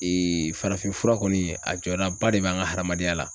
farafin fura kɔni a jɔdaba de bɛ an ka hadamadenya la.